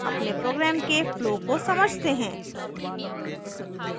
अपने program के flow को समझते हैं